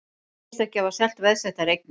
Segjast ekki hafa selt veðsettar eignir